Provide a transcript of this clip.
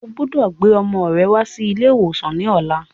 Ọgbọdọ̀ gbé ọmọ rẹ wá sí ilé ìwòsàn ní ọ̀la.